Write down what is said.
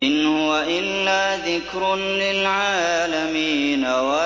إِنْ هُوَ إِلَّا ذِكْرٌ لِّلْعَالَمِينَ